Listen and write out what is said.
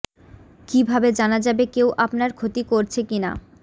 কী ভাবে জানা যাবে কেউ আপনার ক্ষতি করছে কিনা